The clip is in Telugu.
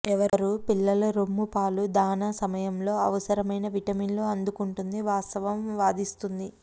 ఎవరూ పిల్లల రొమ్ము పాలు దాణా సమయంలో అవసరమైన విటమిన్లు అందుకుంటుంది వాస్తవం వాదిస్తుంది